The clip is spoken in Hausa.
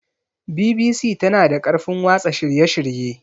BBC tana da ƙarfin watsa shirye-shirye.